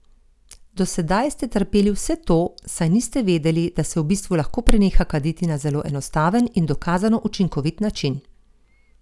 Do sedaj ste trpeli vse to, saj niste vedeli, da se v bistvu lahko preneha kaditi na zelo enostaven in dokazano učinkovit način!